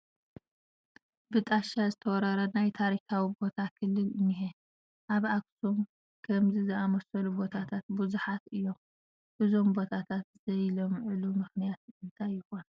ብጣሻ ዝተወረረ ናይ ታሪካዊ ቦታ ክልል እኒሀ፡፡ ኣብ ኣኽሱም ከምዚ ዝኣምሰሉ ቦታታት ብዙሓት እዮም፡፡ እዞም ቦታታት ዘይለምዑሉ ምኽንያት እንታይ ይኾን?